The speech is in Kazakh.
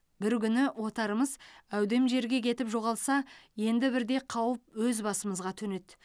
бір күні отарымыз әудем жерге кетіп жоғалса енді бірде қауіп өз басымызға төнеді